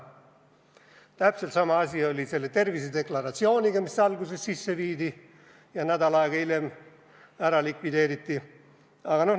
Täpselt sama asi oli selle tervisedeklaratsiooniga, mis alguses sisse viidi ja nädal aega hiljem ära likvideeriti.